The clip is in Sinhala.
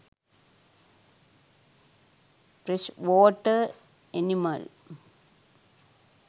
fresh water animal